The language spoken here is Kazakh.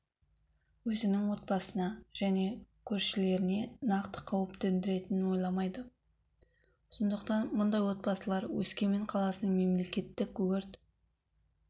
өзінің отбасына және көршілеріне нақты қауіп төндіретінін ойламайды сондықтан мұндай отбасылар өскемен қаласының мемлекеттік өрт